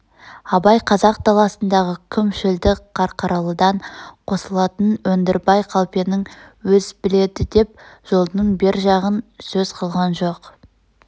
абай қазақ даласындағы құм шөлді қарқаралыдан қосылатын өндірбай қалпенің өз біледі деп жолдың бер жағын сөз қылған жоқ